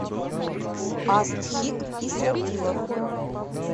астхик исрапилов